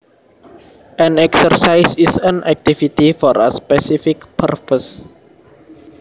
An exercise is an activity for a specific purpose